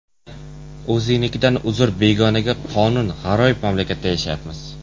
O‘zingnikidan uzr, begonaga qonun G‘aroyib mamlakatda yashaymiz.